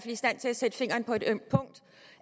i stand til at sætte fingeren på et ømt punkt